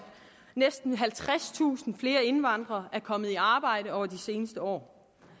næsten halvtredstusind flere indvandrere er kommet i arbejde over de seneste år